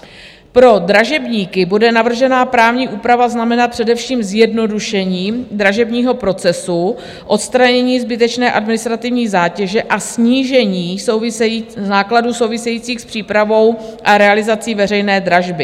Pro dražebníky bude navržená právní úprava znamenat především zjednodušení dražebního procesu, odstranění zbytečné administrativní zátěže a snížení nákladů souvisejících s přípravou a realizací veřejné dražby.